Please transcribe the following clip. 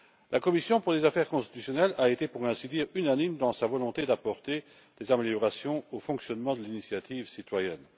La commission des affaires constitutionnelles a été pour ainsi dire unanime dans sa volonté d'apporter des améliorations au fonctionnement de l'initiative citoyenne.